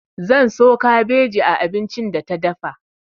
Zan so kabeji a abincin da ta dafa.